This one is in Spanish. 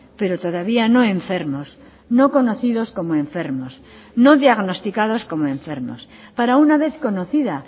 pero todavía no enfermos no conocidos como enfermos no diagnosticados como enfermos para una vez conocida